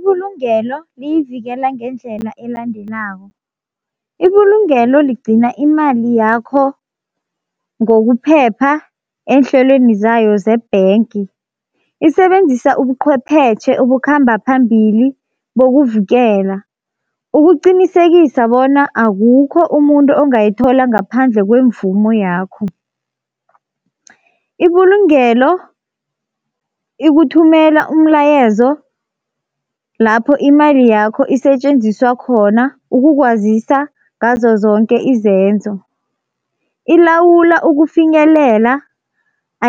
Ibulungelo liyivikela ngendlela elandelako. Ibulungelo ligcina imali yakho ngokuphepha eenhlelweni zayo ze-bank, isebenzisa ubuqwepheshe obukhamba phambili bokuvikela, ukuqinisekisa bona akukho umuntu ongayithola ngaphandle kwemvumo yakho. Ibulungelo ikuthumela umlayezo lapho imali yakho isetjenziswa khona ukukwazisa ngazo zonke izenzo. Ilawulwa ukufinyelela